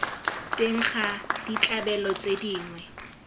teng ga ditlabelo tse dingwe